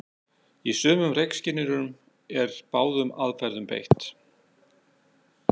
Í sumum reykskynjurum er báðum aðferðum beitt.